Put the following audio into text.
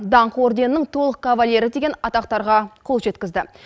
даңқ орденінің толық кавалері деген атақтарға қол жеткізді